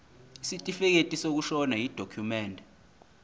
isitifikedi sokushona yidokhumende